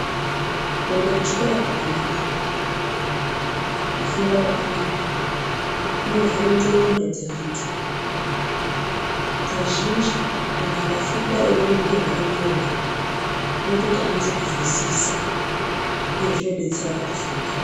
Kuenda kuchikora kwakanaka. Kufunda kwakanaka kunovhura ndxondo dzeantu. Kazhinji antu akafunda eiona zviro zvakanyorwa zvinoita kuti anyase kuzwisisa uye zvinodetsera pakufunda.